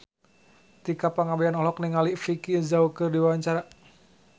Tika Pangabean olohok ningali Vicki Zao keur diwawancara